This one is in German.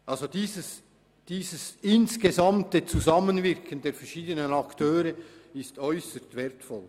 Dieses gesamthafte Zusammenwirken der verschiedenen Akteure ist äusserst wertvoll.